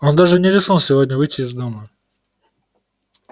он даже не рискнул сегодня выйти из дома